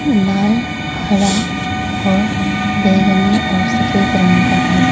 लाल हरा और बैंगनी और सफेद रंग का है।